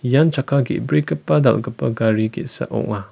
ian chakka ge·brigipa dal·gipa gari ge·sa ong·a.